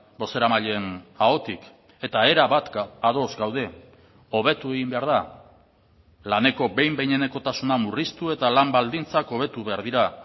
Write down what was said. bozeramaileen ahotik eta erabat ados gaude hobetu egin behar da laneko behin behinekotasuna murriztu eta lan baldintzak hobetu behar dira